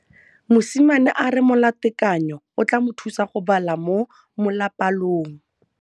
Mosimane a re molatekanyô o tla mo thusa go bala mo molapalong.